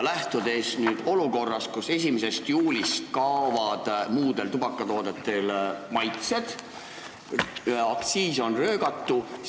Nüüd tekib olukord, kus 1. juulist kaovad muudel tubakatoodetel maitsed ja aktsiis on röögatu.